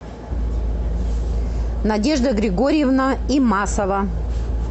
надежда григорьевна имасова